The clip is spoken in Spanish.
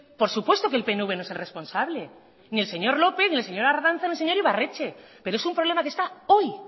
por supuesto que el pnv no es el responsable ni el señor lópez ni el señor ardanza ni el señor ibarretxe pero es un problema que está hoy